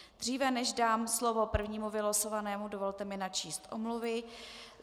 Dříve než dám slovo prvnímu vylosovanému, dovolte mi načíst omluvy.